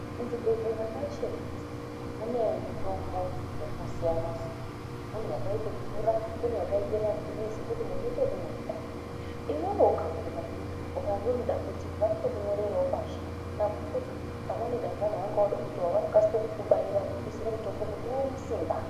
Muzvibhehlera mwega mwega mune mitombo yakasiyana-siyana. Kune yakaita mvura kune yakaita mapilizi yekuita munhu unoite ekumwa. Iwewe ukaguma zviya kana une dambudziko vanotokunyorerawo pashi pamweni dangani wange woda kuwa vanokasira kukubaira mutombo kuti uone Simba.